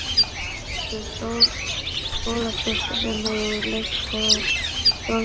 Þorvaldsdóttur, skólasystur sinni úr Leiklistarskóla Þjóðleikhússins.